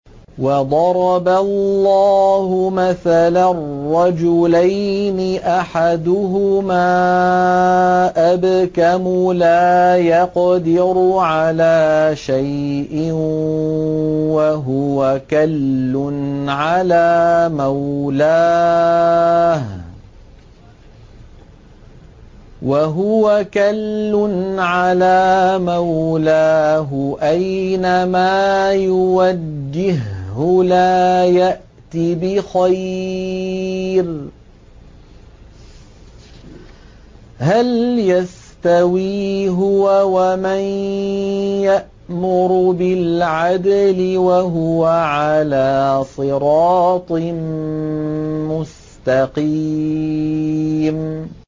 وَضَرَبَ اللَّهُ مَثَلًا رَّجُلَيْنِ أَحَدُهُمَا أَبْكَمُ لَا يَقْدِرُ عَلَىٰ شَيْءٍ وَهُوَ كَلٌّ عَلَىٰ مَوْلَاهُ أَيْنَمَا يُوَجِّههُّ لَا يَأْتِ بِخَيْرٍ ۖ هَلْ يَسْتَوِي هُوَ وَمَن يَأْمُرُ بِالْعَدْلِ ۙ وَهُوَ عَلَىٰ صِرَاطٍ مُّسْتَقِيمٍ